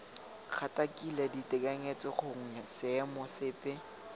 gatakakile ditekanyetso gongwe seemo sepe